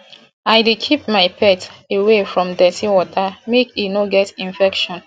i dey keep my pet away from dirty water make e no get infection